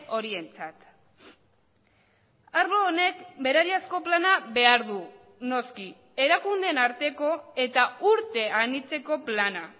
horientzat arlo honek berariazko plana behar du noski erakundeen arteko eta urte anitzeko plana